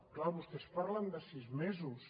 clar vostès parlen de sis mesos